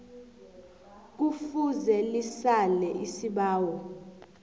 kufuze lisale isibawo